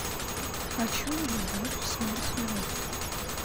хочу любовь смерть и роботы